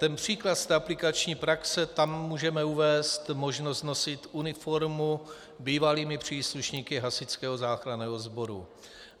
Ten příklad z aplikační praxe - tam můžeme uvést možnost nosit uniformu bývalými příslušníky Hasičského záchranného sboru.